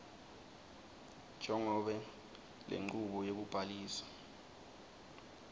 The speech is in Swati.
njengobe lenchubo yekubhalisa